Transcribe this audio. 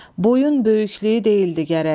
Boyun böyüklüyü deyildi gərək.